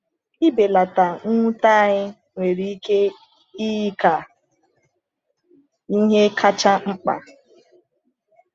Ịbelata mwute anyị nwere ike iyi ka ihe kacha mkpa.